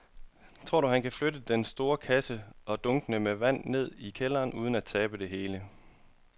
Tror du, at han kan flytte den store kasse og dunkene med vand ned i kælderen uden at tabe det hele?